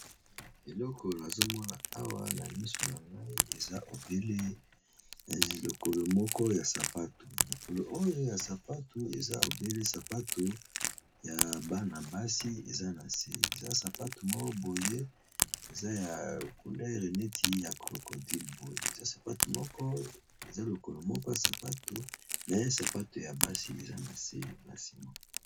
Elokolo azomona awa na miso na mai ezabele lokolo moko ya sapato, lokolo oyo ya sapato eza obele sapato ya bana basi eza na se eza sapato moko boye eza na culere neti ya crocodille, boye eza sapato moko eza lokolo moko ya sapato me sapato ya basi eza na se na ciment.